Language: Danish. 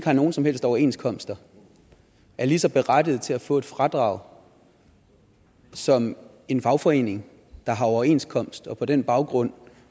har nogen som helst overenskomster er lige så berettiget til at få et fradrag som en fagforening der har overenskomst og som på den baggrund